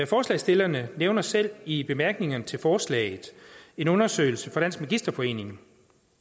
forslagsstillerne nævner selv i bemærkningerne til forslaget en undersøgelse fra dansk magisterforening